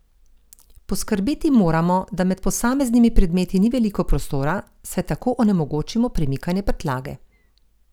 Poskrbeti moramo, da med posameznimi predmeti ni veliko prostora, saj tako onemogočimo premikanje prtljage.